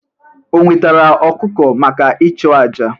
O wetara ọkụkọ maka ịchụ àjà?